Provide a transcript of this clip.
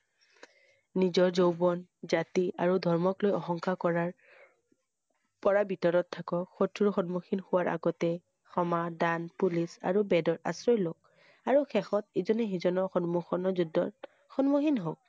নিজৰ যৌৱন জাতি আৰু ধৰ্মক লৈ অহংকাৰ কৰাৰ পৰা ভিতৰত থাকক । শত্ৰু সন্মুখীন হোৱা আগতে ক্ষমা, দান, পুলিচ আৰু বেদৰ আশ্ৰয় ল‌ওক । আৰু শেষত ইজনে সিজনক সন্মুখৰ যুদ্ধত সন্মুখীন হওঁক ।